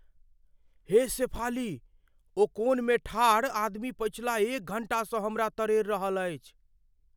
हे शेफाली, ओ कोनमे ठाढ़ आदमी पछिला एक घण्टासँ हमरा तरेड़ रहल अछि।